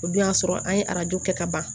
O dun y'a sɔrɔ an ye arajo kɛ ka ban